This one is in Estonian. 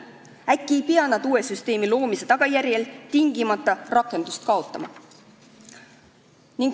Äkki ei peaks nad uue süsteemi loomise tagajärjel tingimata rakenduseta jääma.